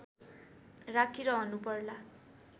राखिरहनु पर्ला